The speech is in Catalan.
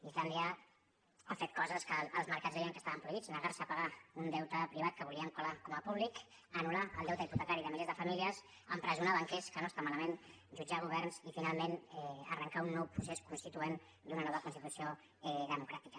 islàndia ha fet coses que els mercats deien que estaven prohibides negar se a pagar un deute privat que volien colar com a públic anulpotecari de milers de famílies empresonar banquers que no està malament jutjar governs i finalment arrencar un nou procés constituent i una nova constitució democràtica